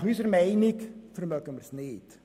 Nach unserer Meinung vermögen wir sie nicht.